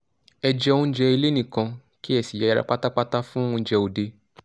ẹ jẹ oúnjẹ ilé nìkan kí ẹ sì yẹra pátápátá fún oúnjẹ òde